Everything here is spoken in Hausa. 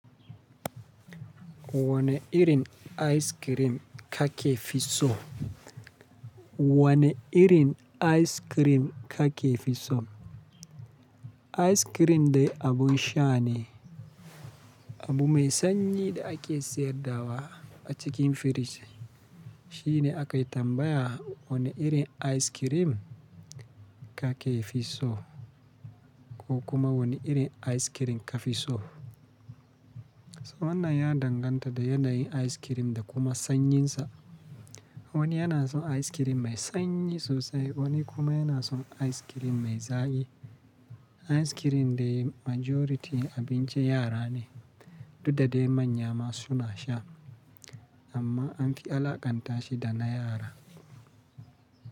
Wane irin ice cream ka ke fi so? Wane irin ice cream ka ke fi so? Ice cream dai abun sha ne, abu mai sanyi da ake sayar dawa a cikin firiji. Shi ne aka tambaya wane irin ice cream ka ke fi so ko kuma wane irin ice cream ka fi so. So wannan ya danganta da yanayin ice cream da kuma sannyinsa. Wani yana son ice cream mai sanyi sosai, wani kuma yana son ice cream mai zaƙi. Ice cream dai majority abincin yara ne, duk da dai manya ma suna sha amma an fi alakanta shi da na yara.